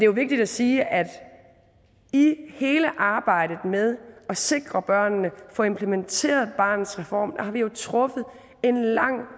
vigtigt at sige at i hele arbejdet med at sikre børnene at få implementeret barnets reform har vi jo truffet en lang